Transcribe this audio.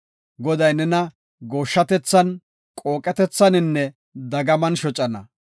Goday nena gooshshatethan, qooqetethaninne dagaman shocana.